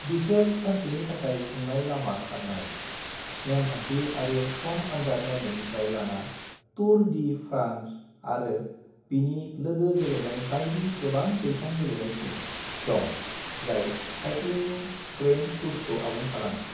बिसोर सानसेनि थाखाय खुंनाय लामा खारनाय, नेमखान्थि आरो सम आन्जाद नायनायनिफ्राय लाना टूर डी फ्रांस आरो बिनि लोगो गेलेनाय बायदि गोबां-बैसां गेलेनायसिम दं, जाय साइक्लिंनि ग्रैण्ड टूर्सखौ आबुं खालामो।